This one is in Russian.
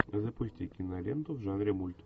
запусти киноленту в жанре мульт